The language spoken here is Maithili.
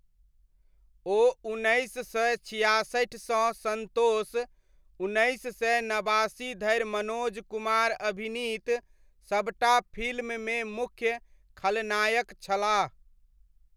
ओ उन्नैस सय छियासठिसँ सन्तोष, उन्नैस सय नबासी धरि मनोज कुमार अभिनीत सबटा फिल्ममे मुख्य खलनायक छलाह।